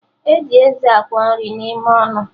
E ji eze akwọ nri n'ime ọnụ